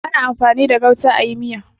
Ana amfani da gauta a yi miya.